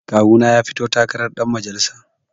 Kawuna ya fito takarar ɗan majalisa